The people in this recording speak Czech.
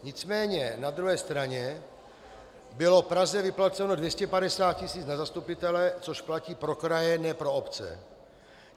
Nicméně na druhé straně bylo Praze vyplaceno 250 tisíc na zastupitele, což platí pro kraje, ne pro obce.